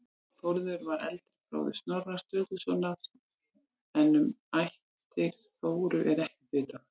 Þórður var eldri bróðir Snorra Sturlusonar en um ættir Þóru er ekkert vitað.